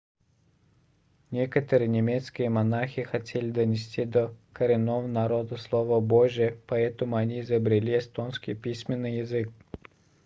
некоторые немецкие монахи хотели донести до коренного народа слово божье поэтому они изобрели эстонский письменный язык